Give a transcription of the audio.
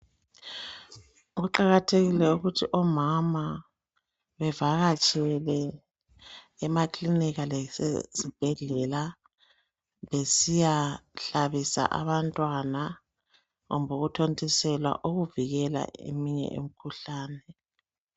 kuqhakathekile ukuthi pmama bevakatshele emakilinika lasezibhedlela besiyahlabisa abantw2ana kumbe ukuthontiselwa ukuvikela eminye imikhuhlane